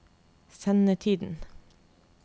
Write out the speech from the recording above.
sendetiden